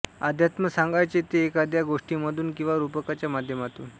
अध्यात्म सांगायचे ते एखाद्या गोष्टीमधून किंवा रूपकाच्या माध्यमातून